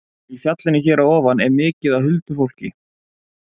Í fjallinu hér fyrir ofan er mikið af huldufólki